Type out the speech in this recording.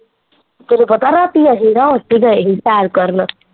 ਤੈਨੂੰ ਪਤਾ ਰਾਤੀ ਅਸੀਂ ਨਾ ਓਥੇ ਗਏ ਸੈਰ ਕਰਨ